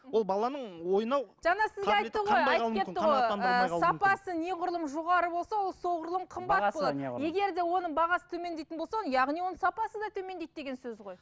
ол баланың ойнау жаңа сізге айтты ғой айтып кетті ғой ыыы сапасы неғұрлым жоғары болса ол соғұрлым қымбат болады егерде оның бағасы төмендейтін болса яғни оның сапасы да төмендейді деген сөз ғой